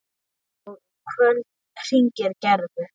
Og um kvöldið hringdi Gerður.